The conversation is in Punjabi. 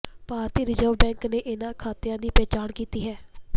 ਭਾਰਤੀ ਰਿਜ਼ਰਵ ਬੈਂਕ ਨੇ ਇਨ੍ਹਾਂ ਖਾਤਿਆਂ ਦੀ ਪਹਿਚਾਣ ਕੀਤੀ ਹੈ